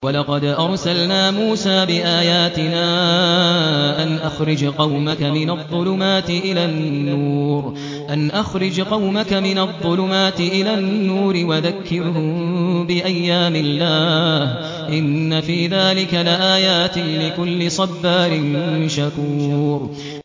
وَلَقَدْ أَرْسَلْنَا مُوسَىٰ بِآيَاتِنَا أَنْ أَخْرِجْ قَوْمَكَ مِنَ الظُّلُمَاتِ إِلَى النُّورِ وَذَكِّرْهُم بِأَيَّامِ اللَّهِ ۚ إِنَّ فِي ذَٰلِكَ لَآيَاتٍ لِّكُلِّ صَبَّارٍ شَكُورٍ